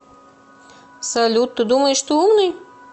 салют ты думаешь ты умный